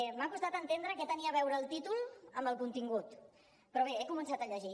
m’ha costat entendre què tenia a veure el títol amb el contingut però bé he començat a llegir